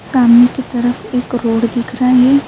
سامنے کی طرف ایک روڈ دیکھ رہا ہے۔